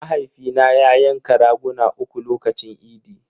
Mahaifina ya yanka raguna uku lokacin idi.